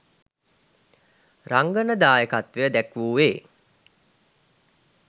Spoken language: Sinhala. රංගන දායකත්වය දැක්වුවේ